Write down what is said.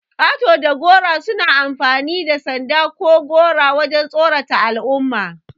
Ƙato da gora suna amfani da sanda ko gora wajan tsaron al'umma.